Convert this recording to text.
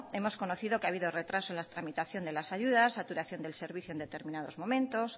hemos conocido que ha habido retrasos en la tramitación de las ayudas saturación del servicio en determinados momentos